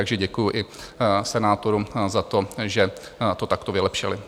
Takže děkuji i senátorům za to, že to takto vylepšili.